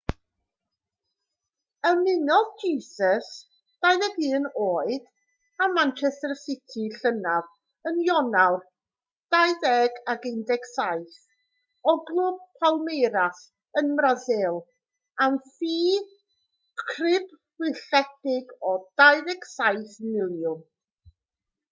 ymunodd jesus 21 oed â manchester city llynedd yn ionawr 2017 o glwb palmeiras ym mrasil am ffi crybwylledig o £27 miliwn